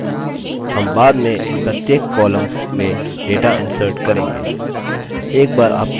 हम बाद में इन प्रत्येक कॉमल्स में data insert करेंगे